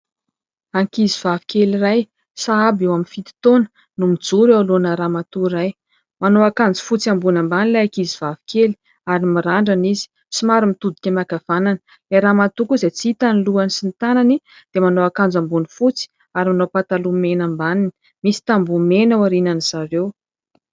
Ankizivavikely iray sahabo eo amin'ny fito taona no mijoro eo anoloana ramatoa iray. Manao akanjo fotsy ambony ambany ilay ankizivavikely ary mirandrana izy, somaro mitodika miankavanana. Ilay ramatoa koa, izay tsy hita ny lohany sy ny tanany, dia manao akanjo ambony fotsy ary manao pataloha mena ambaniny. Misy tamboho mena ao aorianan'izy ireo.